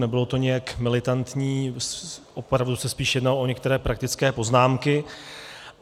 Nebylo to nijak militantní, opravdu se spíš jednalo o některé praktické poznámky.